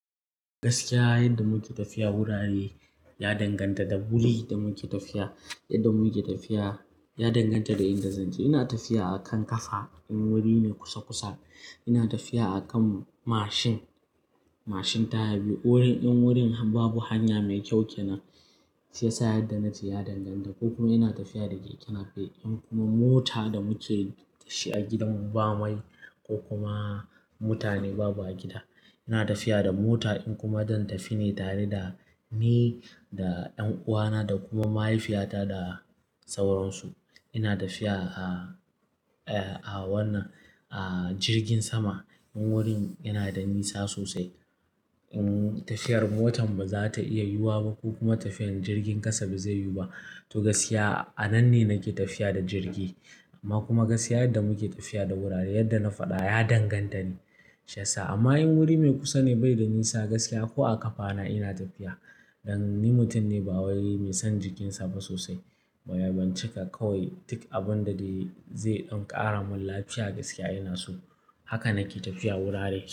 Gaskiya yadda muke tafiya wuraren ne ya danganta da wuri da muke tafiya, yadda mu muke tafiya ya danganta da inda zanje. Ina tafiya a kan kafa in wuri ne kusa kusa, ina tafiya a kan mashin, mashin taya biyu. In wurin, in wurin babu hanya mai kyau kenan shiyasa yadda nace ya danganta ko kuma ina tafiya da keke nape in kuma mota da muke dashi a gidan mu bamai ko kuma mutane babu a gida. Ina tafiya da mota in kuma don tafine tare da ni da ɗan uwana da kuma mahaifiyata da sauransu. Ina tafiya a, a wannan a jirgin sama in wurin yanada nisa sosai. In tafiyar motan bazata iya yiwuwa ba ko kuma tafiyar jirgin ƙasa bazai yiwu ba to gaskiya a nanne nake tafiya da jirgi. Amma kuma gaskiya yadda muke tafiya da wurare yadda na faɗa ya danganta ne. Shiyasa amma in wuri mai kusane baida nisa gaskiya ko a ƙafana ina tafiya. Dan ni mutum ne bawai mai son jikinsa ba sosai. Ban cika kawai duk abinda dai zai ɗan ƙara mun lafiya gaskiya inaso. Haka nake tafiya wurare.